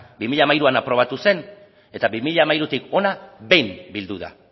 bi mila hamairuan aprobatu zen eta bi mila hamairutik ona behin bildu da